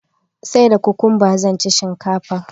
sai da cucumber zanci shinkafar